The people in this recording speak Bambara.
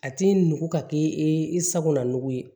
A ti nugu ka kɛ e sagona nugu ye